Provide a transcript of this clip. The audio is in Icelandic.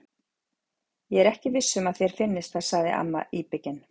Ég er ekki viss um að þér finnist það sagði amma íbyggin.